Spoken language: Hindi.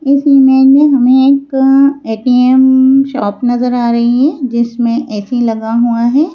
इस इमेज में हमें एक ए_टी_एम शॉप नजर आ रही हैं जिसमें ए_सी लगा हुआ हैं।